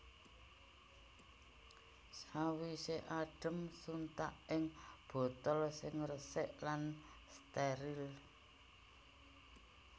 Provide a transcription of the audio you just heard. Sawisé adhem suntak ing botol sing resik lan stèril